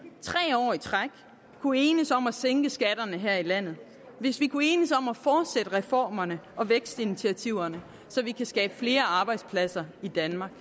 tre år i træk kunne enes om at sænke skatterne her i landet hvis vi kunne enes om at fortsætte reformerne og vækstinitiativerne så vi kan skabe flere arbejdspladser i danmark